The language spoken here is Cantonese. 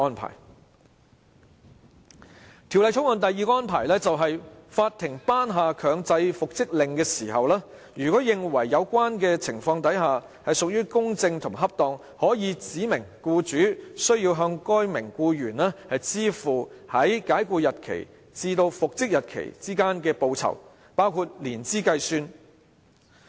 《條例草案》第二個安排，就是法庭頒下強制復職令時，如認為有關情況屬公正和恰當，可指明僱主須向該名僱員支付在解僱日期至復職日期之間包含年資計算的報酬。